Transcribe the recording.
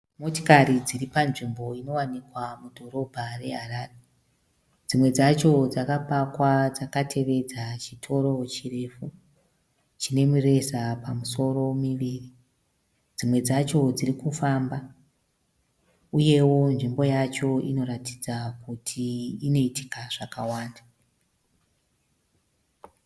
Motikari nziri panzvimbo inowanikwa mudhorobha reHarare. Dzimwe dzacho dzakapakwa dzakatevedza chitoro chirefu chinemireza pamusoro miviri. Dzimwe dzacho dziri kufamba uyewo nzvimbo yacho inoratidza kuti inoitika zvakawanda.